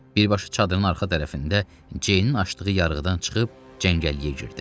Birbaşa çadırın arxa tərəfində ceyinin açdığı yarığıdan çıxıb cəngəlliyə girdi.